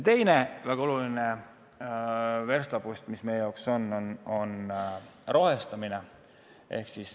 Teine väga oluline verstapost meie jaoks on rohestamine.